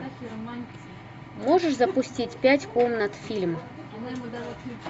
можешь запустить пять комнат фильм